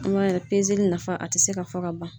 An b'a yira pezeli nafa a tɛ se ka fɔ ka ban.